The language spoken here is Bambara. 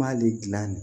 M'ale gilan